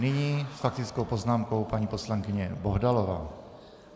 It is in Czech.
Nyní s faktickou poznámkou paní poslankyně Bohdalová.